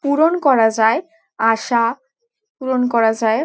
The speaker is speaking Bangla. পূরণ করা যায়। আশা পূরণ করা যায়।